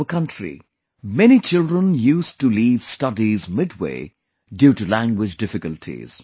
In our country, many children used to leave studies midway due to language difficulties